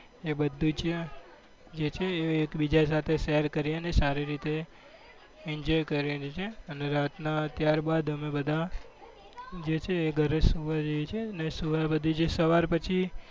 એ બધું જ જે છે એ એકબીજા સાથે share કરીએ અને સારી રીતે enjoy કરીએ છીએ અને રાતના ત્યારબાદ અમે બધા જે છે ઘરે સુવા જઈએ છીએ અને સવાર પછી